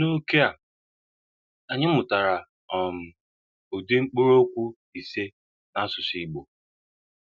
N’ókè a, anyị mụtara um ụdị mkpụrụokwu ise n’asụsụ Igbo.